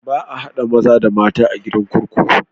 Ba a haɗa maza da mata a gidan kurkuku.